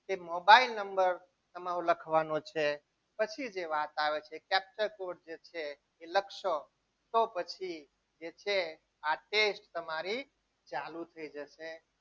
તે mobile number તમારો લખવાનું છે પછી તે વાસ આવે છે capture code જે છે તે લખશો તો પછી જે છે આ test તમારી ચાલુ થઈ જશે.